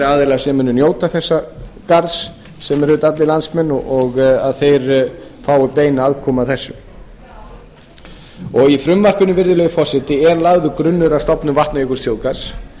aðilar sem munu njóta þessa garðs sem eru auðvitað allir landsmenn að þeir fái beina aðkomu að þessu í frumvarpinu virðulegi forseti er lagður grunnur að stofnun vatnajökulsþjóðgarðs